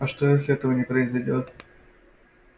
а что если этого не произойдёт